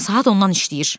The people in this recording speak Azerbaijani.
Saat ondan işləyir.